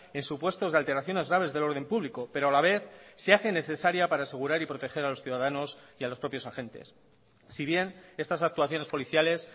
en supuestos de alteraciones graves del orden público pero a la vez se hace necesaria para asegurar y proteger a los ciudadanos y a los propios agentes si bien estas actuaciones policiales